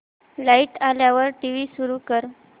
light आल्यावर TV सुरू कर